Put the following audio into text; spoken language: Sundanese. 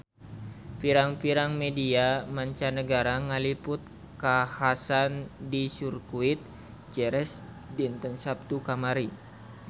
Pirang-pirang media mancanagara ngaliput kakhasan di Sirkuit Jerez dinten Saptu kamari